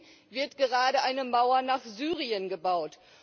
Zudem wird gerade eine Mauer nach Syrien gebaut.